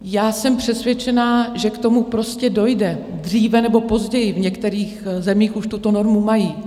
Já jsem přesvědčená, že k tomu prostě dojde dříve nebo později, v některých zemích už tuto normu mají.